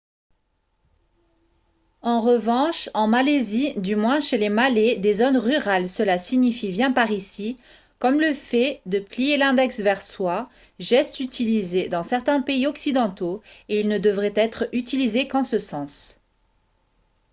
en revanche en malaisie du moins chez les malais des zones rurales cela signifie « viens par ici » comme le fait de plier l'index vers soi geste utilisé dans certains pays occidentaux et il ne devrait être utilisé qu'en ce sens